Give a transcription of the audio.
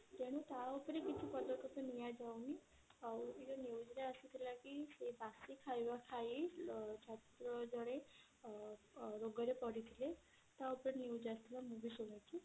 ତେଣୁ ତା ଉପରେ କିଛି ପଦକ୍ଷେପ ନିଆ ଯାଉନି ଆଉ ଏଇ ଯଉ news ରେ ଆସିଥିଲା କି ଏଇ ବାସୀ ଖାଇବା ଖାଇ ଛାତ୍ର ଜଣେ ଅ ରୋଗ ରେ ପଡିଥିଲେ ତା ଉପରେ news ଆସିଥିଲା ମୁଁ ବି ଶୁଣିଛି